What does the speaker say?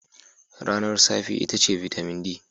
Ranar safe itace bitamin D.